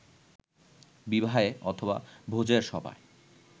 বিবাহে অথবা ভোজের সভায়